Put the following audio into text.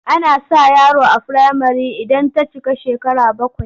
Ana sa yaro a firamare idan ta cika shekara bakwai.